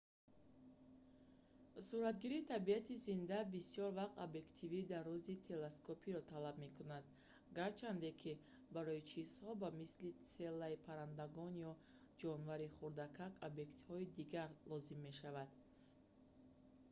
суратгирии табиати зинда бисёр вақт объективи дарози телескопиро талаб мекунад гарчанде ки барои чизҳо ба мисли селаи паррандагон ё ҷонвари хурдакак объективҳои дигар лозим мешавад